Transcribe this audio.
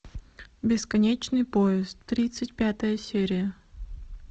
бесконечный поезд тридцать пятая серия